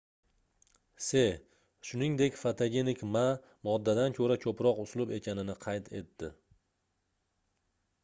se shuningdek fotogenik ma moddadan koʻra koʻproq uslub ekanini qayd etdi